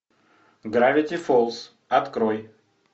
гравити фолз открой